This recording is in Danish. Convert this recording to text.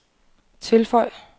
tilføj